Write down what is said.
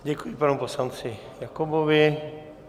Děkuji panu poslanci Jakobovi.